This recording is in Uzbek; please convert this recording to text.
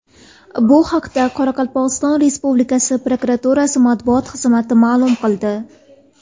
Bu haqda Qoraqalpog‘iston Respublikasi prokuraturasi matbuot xizmati ma’lum qildi .